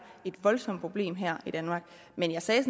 et voldsomt problem her i danmark men jeg sagde